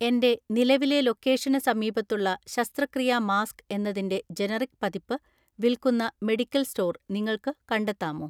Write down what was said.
എന്റെ നിലവിലെ ലൊക്കേഷന് സമീപത്തുള്ള ശസ്ത്രക്രിയാ മാസ്ക് എന്നതിന്റെ ജനറിക് പതിപ്പ് വിൽക്കുന്ന മെഡിക്കൽ സ്റ്റോർ നിങ്ങൾക്ക് കണ്ടെത്താമോ?